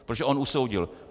Protože on usoudil.